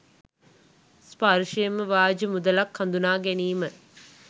ස්පර්ශයෙන්ම ව්‍යාජ මුදලක් හඳුනා ගැනීම